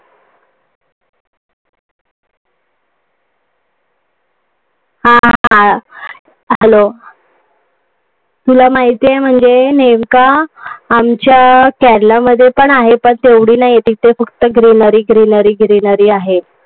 हा. Hello. तुला माहितीये म्हणजे नेमका आमच्या केरलामध्ये पण आहे but एवढी नाही, तिथे फक्त greenery greenery आहे.